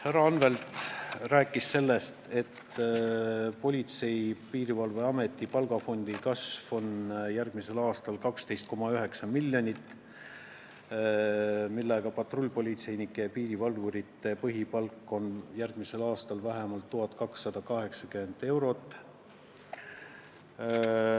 Härra Anvelt rääkis sellest, et Politsei- ja Piirivalveameti palgafondi kasv on järgmisel aastal 12,9 miljonit ning patrullpolitseinike ja piirivalvurite põhipalk on vähemalt 1280 eurot.